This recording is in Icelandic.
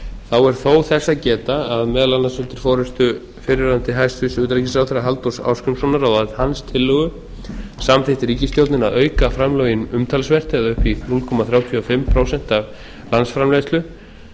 þá er þó þess að geta að meðal annars undir forustu fyrrverandi hæstvirtur utanríkisráðherra halldórs ásgrímssonar og að hans tillögu samþykkti ríkisstjórnin að auka framlögin umtalsvert eða upp í núll komma þrjátíu og fimm prósent af landsframleiðslu